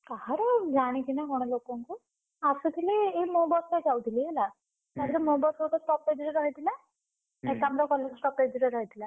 କାହାର ମୁଁ ଜାଣିଚି ନା କଣ ଲୋକଙ୍କ, ଆସୁଥିଲି ଏଇ ମୋ ବସ୍ ରେ ଯାଉଥିଲି ହେଲା। ତାପରେ ମୋ ବସ୍ ଗୋଟେ stoppage ରେ ରହିଥିଲା। ନେତାମ୍ବର college stoppage ରେ ରହିଥିଲା।